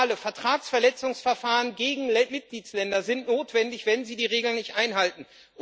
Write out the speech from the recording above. Liebe Liberale Vertragsverletzungsverfahren gegen Mitgliedstaaten sind notwendig, wenn sie die Regeln nicht einhalten.